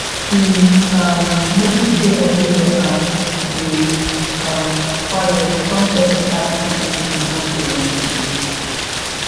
he um notice say everywhere um dey um quiet come softly ask if anything don go wrong today